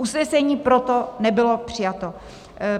Usnesení proto nebylo přijato.